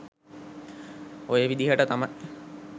ඔය විදිහට තමයි